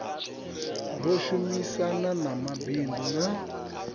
ro shumisana na mabindu na